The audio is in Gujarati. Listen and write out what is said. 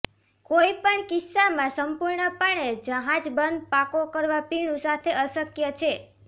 કોઇ પણ કિસ્સામાં સંપૂર્ણપણે જહાજ બંધ પાકો કરવા પીણું સાથે અશક્ય છે